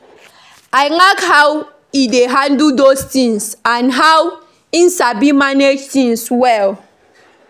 I like how he dey handle those things and he sabi manage things well